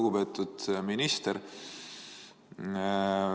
Lugupeetud minister!